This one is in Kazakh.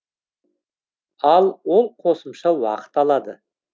ал ол қосымша уақыт алады